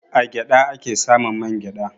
A gyaɗa a ke samun man gyaɗa.